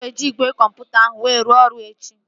Ị ga-eji igwe kọmputa ahụ were rụọ ọrụ echi?